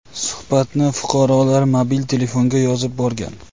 Suhbatni fuqarolar mobil telefonga yozib borgan.